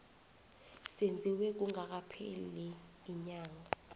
senziwe kungakapheli iinyanga